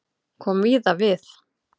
Kom víða við